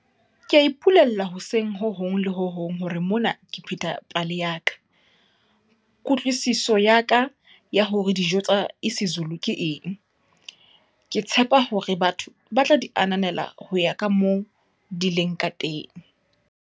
Ke a ipolella hoseng ho hong le ho hong hore mona ke pheta pale ya ka, kutlwisiso ya ka ya hore dijo tsa isiZulu ke eng. Ke tshepa hore batho batla di ananela ho ya kamoo di leng kateng.